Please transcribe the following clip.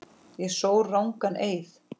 Ég sór rangan eið.